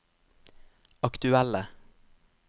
aktuelle